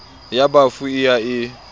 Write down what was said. ya bafu e ya e